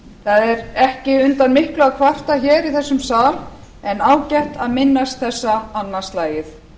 þar ekki undan miklu að kvarta hér í þessum sal en ágætt að minnast þessa annað slagið